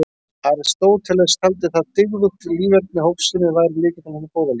Aristóteles taldi að dygðugt líferni og hófsemi væri lykillinn að hinu góða lífi.